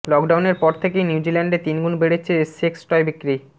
লকডাউনের পর থেকেই নিউজিল্যান্ডে তিনগুণ বেড়েছে সেক্স টয় বিক্রি